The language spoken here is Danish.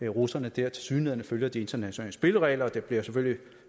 russerne der tilsyneladende følger de internationale spilleregler det bliver selvfølgelig